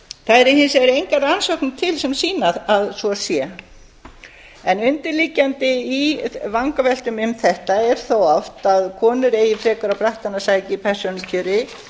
það eru hins vegar engar rannsóknir sem sýna að svo sé en undirliggjandi í vangaveltum um þetta er þó oft að konur eigi frekar á brattann að sækja í persónukjöri